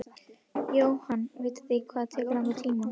Jóhann: Vitið þið hvað það tekur langan tíma?